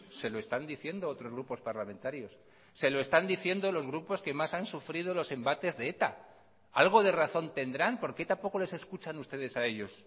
se lo están diciendo otros grupos parlamentarios se lo están diciendo los grupos que más han sufrido los embates de eta algo de razón tendrán porque tampoco les escuchan ustedes a ellos